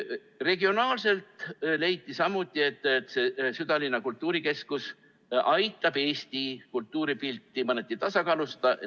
Regionaalses mõttes leiti samuti, et see südalinna kultuurikeskus aitab Eesti kultuuripilti mõneti tasakaalustada.